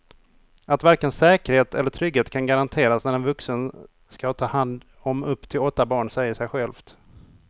Att varken säkerhet eller trygghet kan garanteras när en vuxen ska ta hand om upp till åtta barn säger sig självt.